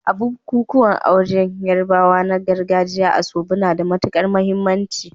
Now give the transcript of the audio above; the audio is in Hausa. A bukukuwan auren Yarbawa na gargajiya, asoebi na da matukar muhimmanci.